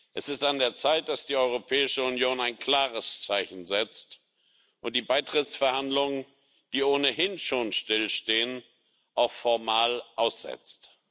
Es ist an der Zeit, dass die Europäische Union ein klares Zeichen setzt und die Beitrittsverhandlungen, die ohnehin schon stillstehen, auch formal aussetzt.